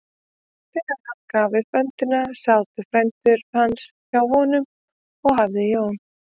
Þegar hann gaf upp öndina sátu frændur hans hjá honum og hafði Jón